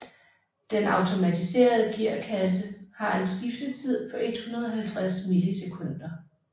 Den automatiserede gearkasse har en skiftetid på 150 millisekunder